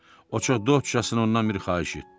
O çox dostcasına ondan bir xahiş etdi.